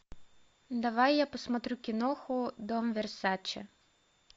давай я посмотрю киноху дом версаче